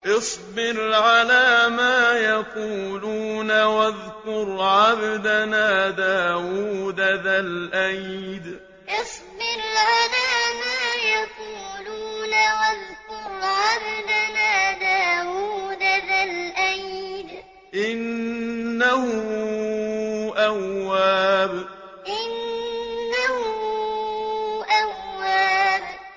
اصْبِرْ عَلَىٰ مَا يَقُولُونَ وَاذْكُرْ عَبْدَنَا دَاوُودَ ذَا الْأَيْدِ ۖ إِنَّهُ أَوَّابٌ اصْبِرْ عَلَىٰ مَا يَقُولُونَ وَاذْكُرْ عَبْدَنَا دَاوُودَ ذَا الْأَيْدِ ۖ إِنَّهُ أَوَّابٌ